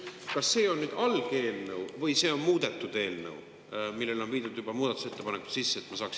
Kas see on nüüd algeelnõu või see on muudetud eelnõu, millesse on juba muudatusettepanekud sisse viidud?